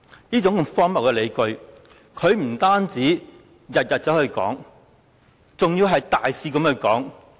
這種荒謬的理據他不僅每天都在提出，更是大肆地提出。